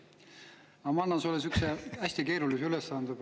Aga ma annan sulle praegu sihukese hästi keerulise ülesande.